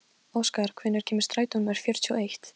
Óskar, hvenær kemur strætó númer fjörutíu og eitt?